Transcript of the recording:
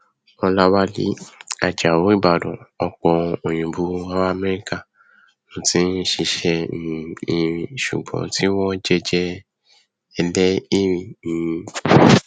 ọlàwálẹ ajáò ìbàdàn ọpọ òyìnbó ará amẹríkà ló ti ń ṣiṣẹ um erin ṣùgbọn tí wọn ń jẹjẹ ẹlẹìrì um